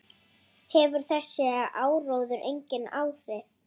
Hefur þessi áróður engin áhrif?